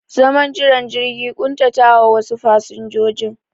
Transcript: Zaman jiran jirgi ya ƙuntatawa wasu fasinjojin